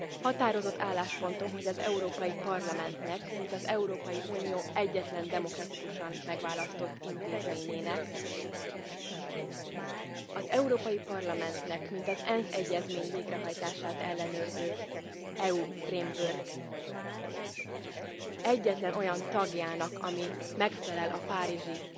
Határozott álláspontom, hogy az Európai Parlamentnek, mint az Európai Unió egyetlen demokratikusan megválasztott intézményének, az Európai Parlamentnek, mint az ENSZ egyezmény végrehajtását ellenőrző EU Framework egyetlen olyan tagjának, ami megfelel a párizsi